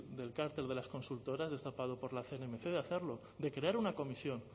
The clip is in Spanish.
del carácter de las consultoras destapado por la cnmc de hacerlo de crear una comisión